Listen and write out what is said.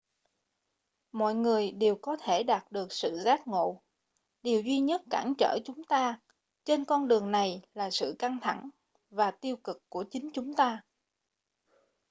mọi người đều có thể đạt được sự giác ngộ điều duy nhất cản trở chúng ta trên con đường này là sự căng thẳng và tiêu cực của chính chúng ta